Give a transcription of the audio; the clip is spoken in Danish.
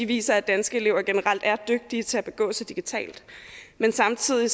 viser at danske elever generelt er dygtige til at begå sig digitalt men samtidig